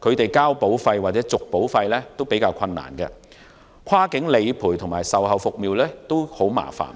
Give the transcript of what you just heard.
他們繳納保費或續保繳費較為困難，跨境理賠及售後服務也很麻煩。